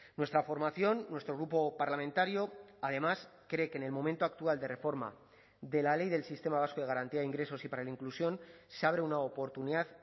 nuestra formación nuestro grupo parlamentario además cree que en el momento actual de reforma de la ley del sistema vasco de garantía de ingresos y para la inclusión se abre una oportunidad